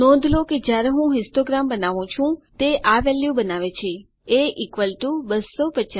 નોંધ લો કે જ્યારે હું હિસ્ટોગ્રામ બનાવું છું તે આ વેલ્યુ બનાવે છે a 250